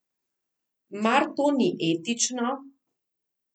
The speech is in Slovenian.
Mar to ni etično?